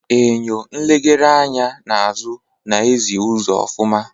Eñyo nlegharị anya n'azụ na ezi uzo ofuma.